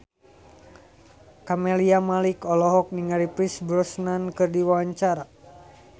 Camelia Malik olohok ningali Pierce Brosnan keur diwawancara